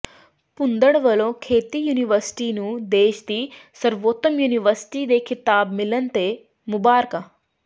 ਭੂੰਦੜ ਵਲੋਂ ਖੇਤੀ ਯੂਨੀਵਰਸਿਟੀ ਨੂੰ ਦੇਸ਼ ਦੀ ਸਰਵੋਤਮ ਯੂਨੀਵਰਸਿਟੀ ਦੇ ਖਿਤਾਬ ਮਿਲਣ ਤੇ ਮੁਬਾਰਕਾਂ